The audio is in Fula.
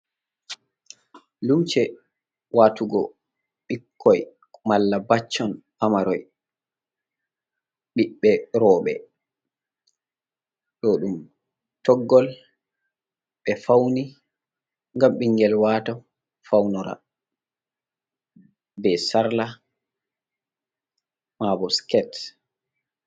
Lumce watugo ɓikkoi mala baccon paamaroi, ɓiɓbe roɓɓe ɗo ɗum toggol ɓe fauni gam ɓingel wata faunora ɓe sarla mabo skete.